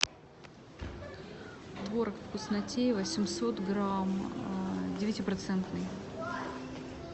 творог вкуснотеево семьсот грамм девяти процентный